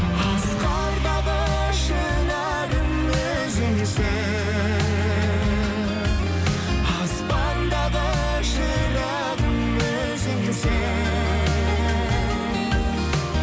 асқардағы шынарым өзіңсің аспандағы шырағым өзіңсің